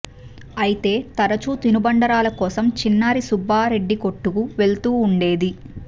అయితే తరచూ తినుబండారాల కోసం చిన్నారి సుబ్బారెడ్డి కొట్టుకి వెళుతూ ఉండేది